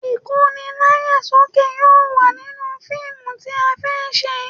Ìkóni láyà sókè yóò wà nínú fíìmù tí a fẹ́ ṣe